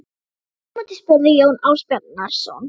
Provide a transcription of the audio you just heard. Fyrir dyrum úti spurði Jón Ásbjarnarson